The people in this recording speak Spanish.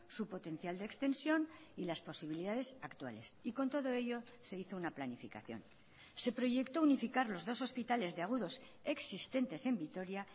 su potencial de extensión y las posibilidades actuales y con todo ello se hizo una planificación se proyectó unificar los dos hospitales de agudos existentes en vitoria